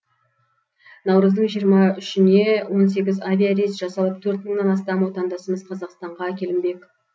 наурыздың жиырма үшіне он сегіз авиарейс жасалып төрт мыңнан астам отандасымыз қазақстанға әкелінбек